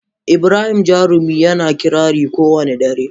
Ibrahim Jarumi yana kirari kowane dare.